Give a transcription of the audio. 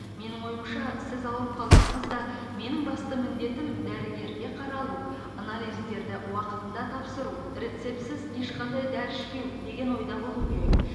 менің ойымша сіз ауырып қалсаңыз да менің басты міндетім дәрігерге қаралу анализдерді уақытында тапсыру рецептсіз ешқандай дәрі ішпеу деген ойда болу керек